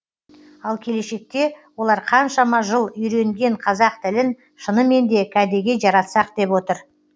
ал келешекте олар қаншама жыл үйренген қазақ тілін шынымен де кәдеге жаратсақ деп отыр